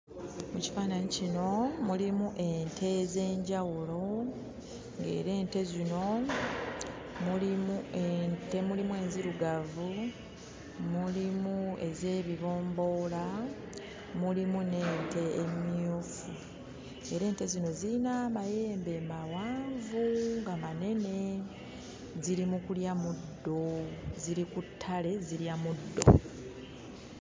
Mu kifaananyi kino mulimu ente ez'enjawulo, ng'era ente zino mulimu ente mulimu enzirugavu, mulimu ez'ebibomboola, mulimu n'ente emmyufu. Era ente zino ziyina amayembe mawanvu nga manene. Ziri mu kulya muddo, ziri ku ttale zirya muddo.